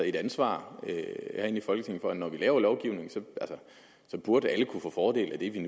et ansvar her i folketinget for at når vi laver lovgivning så burde alle kunne få fordel af det vi